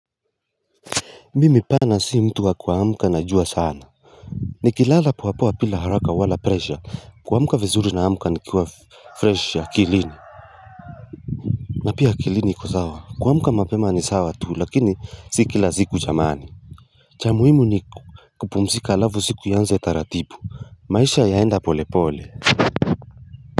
Mimi pana si mtu wa kuamka najua sana Nikilala poa poa bila haraka wala presha kuamka vizuri naamka nikuwa fresh akilini na pia akilini iko sawa kuamka mapema ni sawa tu lakini si kila ziku jamani cha muhimu ni kupumzika alavu siku ianze taratibu maisha yaenda pole pole.